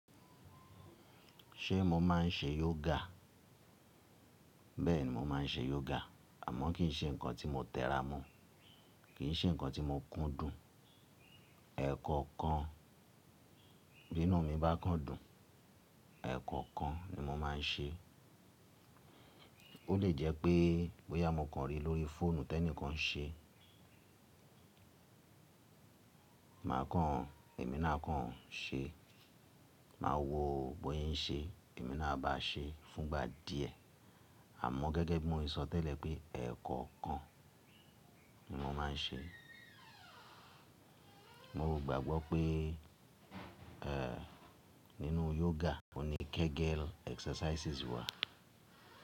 Ṣé mo máa ń ṣe yoga? Bẹ́ẹ̀ni mo máa ń ṣe yoga àmọ́ kì í ṣe nǹkan tí mo tẹ́ra mọ̀, kì í ṣe nǹkan tí mo kún dùn. Ẹ̀ẹ̀kọkan binu mi bá kán dùn, ẹ̀ẹ̀kọkan ni mo máa ń ṣe. Ó lè jẹ́ pé bóyá mo kan rí lórí fóònù tí ẹnìkan ń ṣe, màá kan èmi náà kan ṣe. Màá wo bóṣé ń ṣe èmi náà a bá ṣe fúngba díẹ̀ àmọ́ gẹ́gẹ́ bí mo ṣe sọtẹ́lẹ̀ pé ẹ̀ẹ̀kọ̀kan ni mo máa ń ṣe. Mo rògbàgbọ́ pé ẹ́ nínú yoga ó ní Kegel exercises wà.